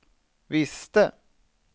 visste